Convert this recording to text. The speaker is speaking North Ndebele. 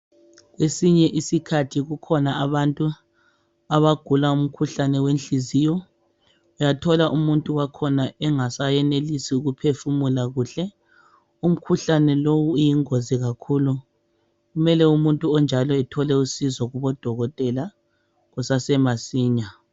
kwesinye iskhathi kukhona abantu abagula umkhuhlane wenhliziyo uyathola umuntu wakhona engasayenelisis ukuphefumula kuhle umkhuhlane lowu uyingozi kakhulu kumele umuntu onjalo ethole usizo kubo dokotela kusase masinya